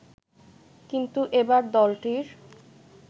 কিন্তু এবার দলটির